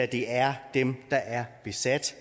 det er dem der er besat